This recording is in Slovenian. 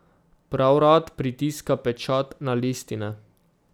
Prav rad pritiska pečat na listine.